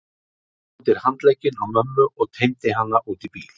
Hann tók undir handlegginn á mömmu og teymdi hana út í bíl.